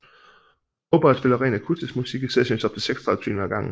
Mobile spiller ren akustisk musik i sessions op til 36 timer ad gangen